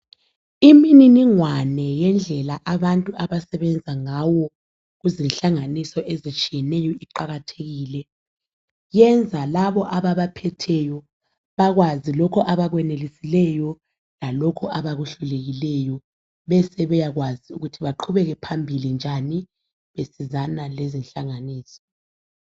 Imininingwane yendlela abantu abasebenzangayo kuzinhlanganiso ezitshiyeneyo iqakathekile, yenza yenza labo ababaphetheyo bakwazi lokho abakwenelisilwyo lalokho abakuhlulekileyo besebeyakwazi ukuthi baqhubekele phambili njani besizana lezinhlanganiso.